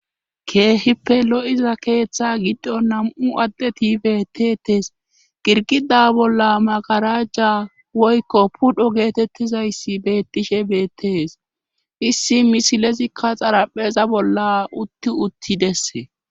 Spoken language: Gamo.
keehippe lo7iza keeththa giddo nam7u addeti betetes girgida bolla magarajja woykko pudho geetettizayssi bettishe beettees issi misilezikka xarapheza bolla utti uttidesse